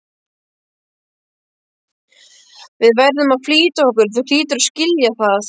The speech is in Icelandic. Við verðum að flýta okkur, þú hlýtur að skilja það.